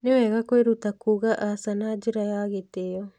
Nĩ wega kwĩruta kuuga aca na njĩra ya gĩtĩo.